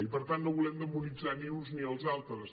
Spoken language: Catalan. i per tant no volem demonitzar ni els uns ni els altres